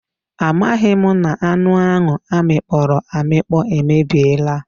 A maghị m na anụ ahụ amịkpọrọ amịkpọ emebiela.